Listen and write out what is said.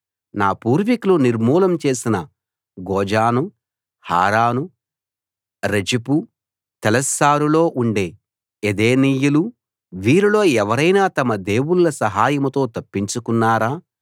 నా పూర్వికులు నిర్మూలం చేసిన గోజాను హారాను రెజెపు తెలశ్శారులో ఉండే ఏదెనీయులు వీరిలో ఎవరైనా తమ దేవుళ్ళ సహాయంతో తప్పించుకున్నారా